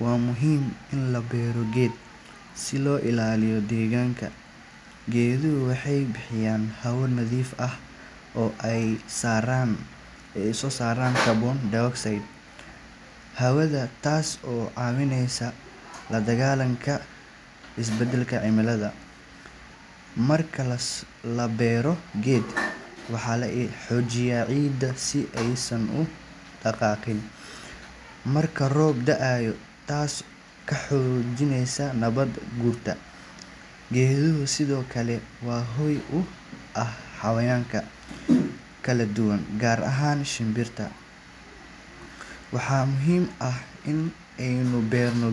Waa muhiim in la beero geedo si loo ilaaliyo deegaanka. Geeduhu waxay bixiyaan hawo nadiif ah oo ay ka saaraan carbon dioxide hawada, taas oo caawinaysa la dagaallanka isbeddelka cimilada. Marka la beero geed, waxaa la xoojiyaa ciidda si aysan u dhaqaaqin marka roob da’o, taasoo ka hortagta nabaad-guurka. Geeduhu sidoo kale waa hoy u ah xayawaanka kala duwan, gaar ahaan shimbiraha. Waxaa muhiim ah in aynu barno